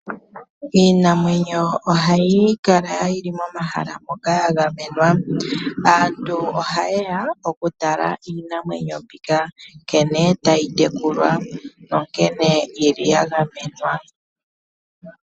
Iinamwenyo ohayi kala yili momahala moka yagamenwa . Aantu ohayeya okutala iinamwenyo mbika nkene tayi tekulwa nonkene yagamenwa.